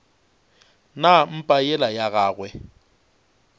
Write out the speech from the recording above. na mpa yela ya gagwe